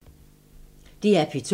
DR P2